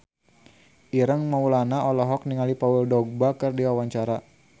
Ireng Maulana olohok ningali Paul Dogba keur diwawancara